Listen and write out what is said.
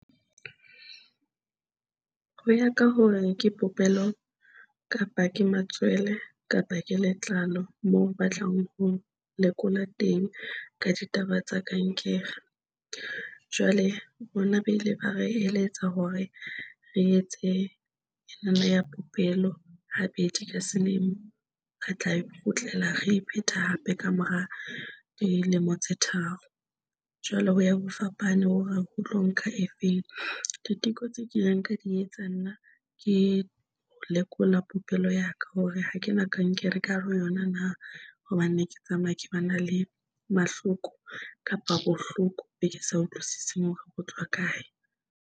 Ho ya ka hore ke popelo kapa ke matswele kapa ke letlalo moo ba tlang ho lekola teng ka ditaba tsa kankere. Jwale rona ba ile ba re eletsa hore re etse nthwena ya popelo habedi ka selemo, re tla e kgutlela re iphetha hape ka mora dilemo tse tharo. Jwale ho ya ho fapana hore ho tlo nka e feng. Diteko tse kileng ka di etsa nna ke ho lekola popelo ya ka hore hakena kankere ka hare ho yona na hobane ne ke tsamaya ke ba na le mahloko kapa bohloko be ke sa utlwisise hore bo tswa kae.